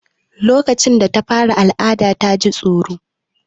Lokacin da ta fara al'ada ta ji tsoro.